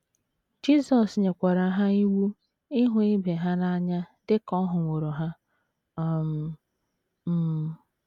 Jisọs nyekwara ha iwu ịhụ ibe ha n’anya dị ka ọ hụworo ha um. um.